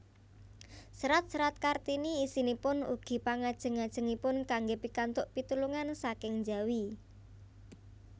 Serat serat Kartini isinipun ugi pangajeng ajengipun kanggé pikantuk pitulungan saking njawi